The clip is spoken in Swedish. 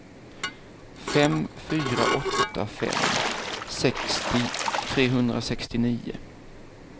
fem fyra åtta fem sextio trehundrasextionio